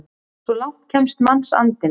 Svo langt kemst mannsandinn!